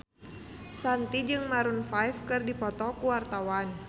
Shanti jeung Maroon 5 keur dipoto ku wartawan